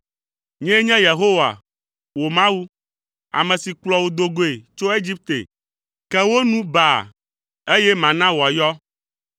Nyee nye Yehowa, wò Mawu, ame si kplɔ wò do goe tso Egipte. Ke wò nu baa, eye mana wòayɔ.